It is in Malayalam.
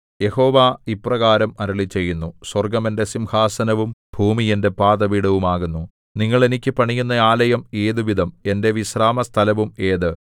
യഹോവ ഇപ്രകാരം അരുളിച്ചെയ്യുന്നു സ്വർഗ്ഗം എന്റെ സിംഹാസനവും ഭൂമി എന്റെ പാദപീഠവും ആകുന്നു നിങ്ങൾ എനിക്ക് പണിയുന്ന ആലയം ഏതുവിധം എന്റെ വിശ്രാമസ്ഥലവും ഏത്